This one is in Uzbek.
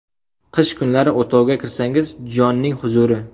Qish kunlari o‘tovga kirsangiz jonning huzuri.